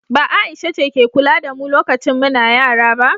ba Aisha ce ke kula da mu lokacin muna yara ba?